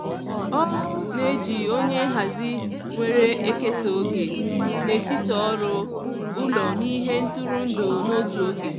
Ọ na-eji onye nhazi were ekesa oge n'etiti ọrụ, ụlọ na ihe ntụrụndụ n'otu oge.